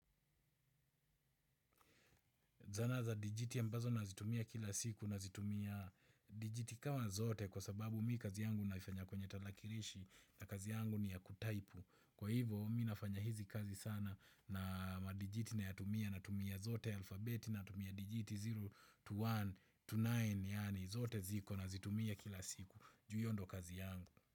Zana za dijiti ambazo nazitumia kila siku nazitumia dijiti kawa zote kwa sababu mi kazi yangu naifanya kwenye tarakirishi na kazi yangu ni ya kutaipu. Kwa hivyo mi nafanya hizi kazi sana na madijiti nayatumia natumia zote alfabeti natumia dijiti sifuri to moja to tisa yani zote ziko nazitumia kila siku. Juu hiyo ndo kazi yangu.